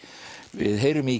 við heyrum í